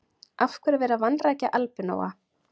Af hverju er verið að vanrækja albinóa?